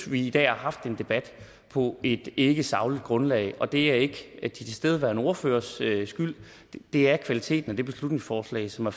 vi i dag har haft en debat på et ikkesagligt grundlag og det er ikke de tilstedeværende ordføreres skyld det er kvaliteten af det beslutningsforslag som er